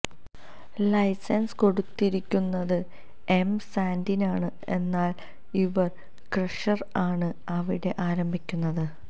licence കൊടുത്തിരിക്കുന്നത് M സാന്റിനാണ് എന്നാൽ ഇവർ ക്രഷർ ആണ് അവിടെ ആരംഭിക്കുന്നത്